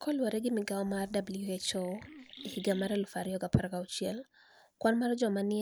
Kaluwore gi migao mar (WHO), e higa mar 2016, kwani mar joma ni